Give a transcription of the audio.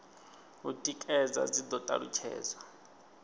u tikedza dzi do talutshedzwa